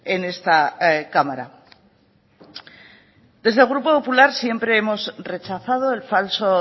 en esta cámara desde el grupo popular siempre hemos rechazado el falso